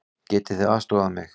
Getið þið aðstoðað mig?